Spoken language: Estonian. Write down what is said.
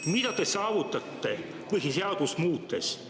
Mida te saavutate põhiseadust muutes?